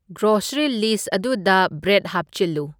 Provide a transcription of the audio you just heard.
grocery list ꯑꯗꯨꯗ bread ꯍꯥꯞꯆꯤꯜꯂꯨ